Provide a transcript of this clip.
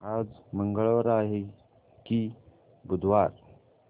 आज मंगळवार आहे की बुधवार